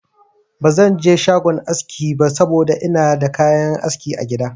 Ba zan je shagon aski ba saboda ina da kayan aski a gida.